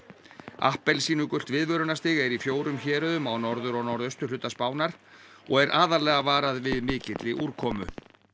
appelsínugult er í fjórum héruðum á norður og norðausturhluta Spánar og er aðallega varað við mikilli úrkomu